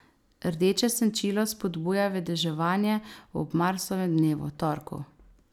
Rdeče senčilo spodbuja vedeževanje ob Marsovem dnevu, torku.